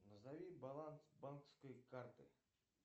назови баланс банковской карты